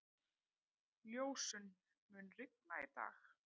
Ljósunn, mun rigna í dag?